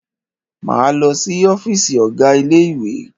Máa lọ si ọ́fìsì ọ̀gá ilé ìwé.